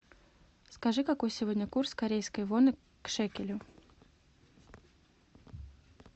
скажи какой сегодня курс корейской воны к шекелю